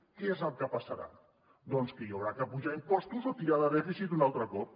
què és el que passarà doncs que s’haurà d’apujar impostos o tirar de dèficit un altre cop